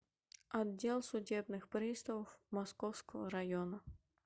отдел судебных приставов московского района